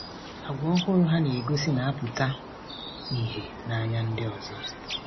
Àgwà ọhụrụ ha na-egosi na-apụta ìhè n’anya ndị ọzọ.